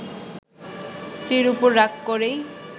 স্ত্রীর ওপর রাগ করেই